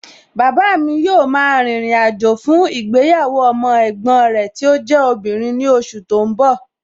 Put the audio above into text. Bàbáa mi yóò ma rìnrìn àjò fún ìgbéyàwó ọmọ ẹ̀gbọ́n rẹ tí ó jẹ́ obìnrin ní oṣù tó ń bọ̀